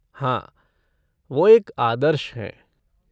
हाँ, वो एक आदर्श हैं।